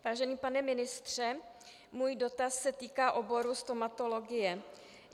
Vážený pane ministře, můj dotaz se týká oboru stomatologie.